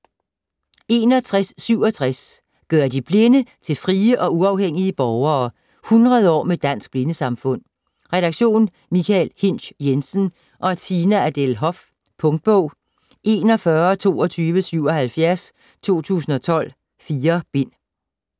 61.67 ...gøre de Blinde til frie og uafhængige borgere: 100 år med Dansk Blindesamfund Redaktion: Michael Hinsch Jensen og Tina Adele Hoff. Punktbog 412277 2012. 4 bind.